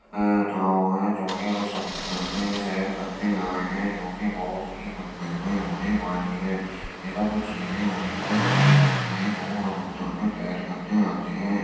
ये लोग है जो कि समुन्द्र में सैर करने आये हैं जो कि बोहोत ही मंगलमय होने वाली है | ये सब चीजे उन्ही के लिए होती है जो समुन्द्र में तैर करने आते हैं।